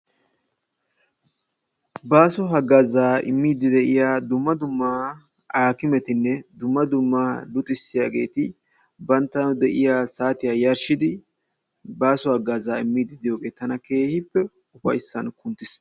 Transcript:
Baaso haggaazaa immidi de'iya dumma dumma aakkimmetinne dumma dumma luxissiyageeti banttawu de'iya saatiya yarshidi baaso haggaazaa immidi diyogee tana keehippe ufayssan kunttiis.